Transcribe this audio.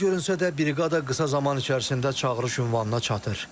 Qəliz görünsə də briqada qısa zaman içərisində çağırış ünvanına çatır.